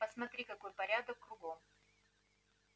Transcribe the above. посмотри какой порядок кругом